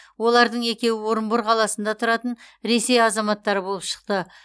олардың екеуі орынбор қаласында тұратын ресей азаматтары болып шықты